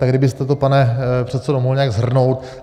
Tak kdybyste to, pane předsedo, mohl nějak shrnout.